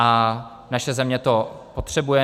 A naše země to potřebuje.